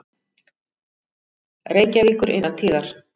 Reykjavíkur innan tíðar.